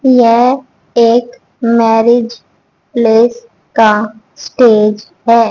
यह एक marriage place का स्टेज है।